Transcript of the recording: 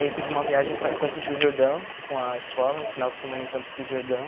Aí teve uma viagem para Campos do Jordão com a escola, um final de semana em Campos do Jordão.